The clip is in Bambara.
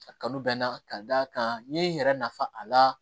A kanu bɛ n na ka d'a kan n ye n yɛrɛ nafa a la